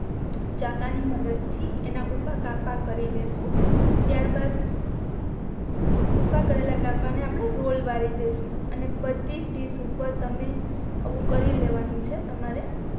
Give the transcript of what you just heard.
ચાકા ની મદદ થી એના ઉભા કાપા કરી લેશું ત્યાર બા ઉભા કેરેલા કાપા ને આપણે રોલ વાળી દેસું અને બધી ડિશ ઉપર તમે આવું કરી લેવાનું છે તમારે